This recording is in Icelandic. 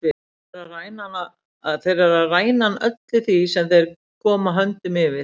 Þeir eru að ræna hann öllu sem þeir koma höndum yfir.